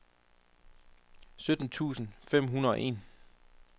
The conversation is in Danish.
sytten tusind fem hundrede og en